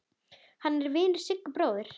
Hann er vinur Sigga bróður.